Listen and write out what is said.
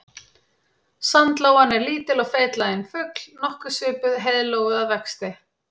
Sandlóan er lítill og feitlaginn fugl nokkuð svipuð heiðlóu að vexti.